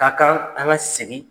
Ka kan an ka segi